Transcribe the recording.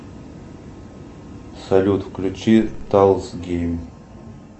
салют включи тайлс гейм